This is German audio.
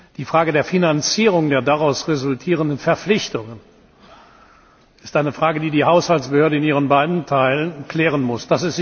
Die Frage der Finanzierung der daraus resultierenden Verpflichtungen ist eine Frage, die die Haushaltsbehörde in ihren beiden Teilen klären muss.